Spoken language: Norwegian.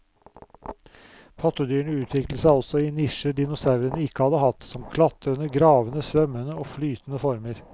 Pattedyrene utviklet seg også i nisjer dinosaurene ikke hadde hatt, som klatrende, gravende, svømmende og flyvende former.